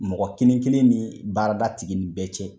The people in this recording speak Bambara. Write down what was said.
Mɔgɔ kelen kelen ni baarada tigi nin bɛɛ cɛ.